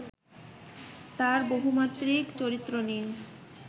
তার বহুমাত্রিক চরিত্র নিয়ে